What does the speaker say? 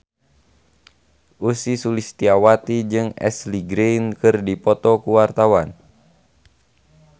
Ussy Sulistyawati jeung Ashley Greene keur dipoto ku wartawan